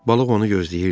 Balıq onu gözləyirdi.